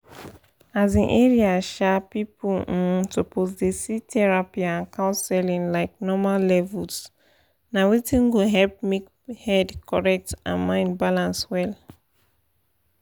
um area um people um suppose dey see therapy and counseling like normal levels na wetin go help make head correct and mind balance well.